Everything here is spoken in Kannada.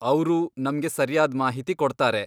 ಅವ್ರು ನಮ್ಗೆ ಸರ್ಯಾದ್ ಮಾಹಿತಿ ಕೊಡ್ತಾರೆ.